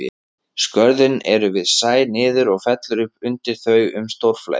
Skörðin eru við sæ niður og fellur upp undir þau um stórflæði.